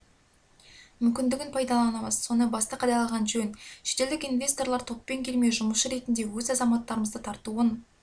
мүмкіндігін пайдаланамыз соны басты қадағалаған жөн шетелдік инвесторлар топпен келмей жұмысшы ретінде өз азаматтарымызды тартуын